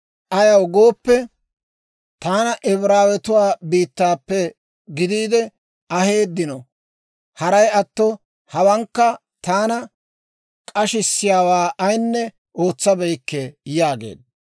ayaw gooppe, taana Ibraawetuwaa biittaappe gidiide aheeddino; haray atto hawankka taana k'ashissiyaawaa ayinne ootsabeykke» yaageedda.